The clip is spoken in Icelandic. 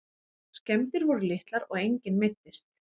Skemmdir voru litlar og enginn meiddist